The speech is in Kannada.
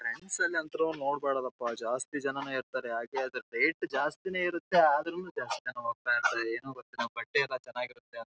ಫ್ರೆಂಡ್ಸ ನಲ್ಲೊಂತು ನೋಡಬಾರದಪ್ಪಜಾಸ್ತಿ ಜನನೇ ಇರ್ತಾರೆ ಯಾಕೆ ಅಂದ್ರೆ ವೈಟ್‌ ಜಾಸ್ತಿನೇ ಇರತ್ತೆ ಆದ್ರೂನೂ ಜಾಸ್ತಿ ಜನ ಹೊಗ್ತಾ ಇರ್ತಾರೆ ಏನೋ ಗೊತ್ತಿಲ್ಲ ಬಟ್ಟೆ ಎಲ್ಲ ಚೆನ್ನಾಗಿರತ್ತೆ .